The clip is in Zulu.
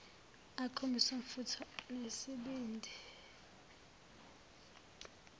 akhombise umfutho nesibindi